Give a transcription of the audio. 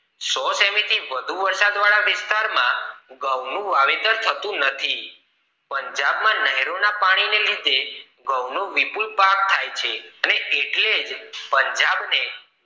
સો સેમી થી વધુ વરસાદ વાળા વિસ્તાર માં ઘઉ નું વાવેતર થતું નથી પંજાબ માં નહેરો ના પાણી ન લીધે ઘઉ નું વિપુલ પાક થાય છે એટલે જ પંજાબ ને ઘઉ ને